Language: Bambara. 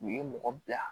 U ye mɔgɔ bila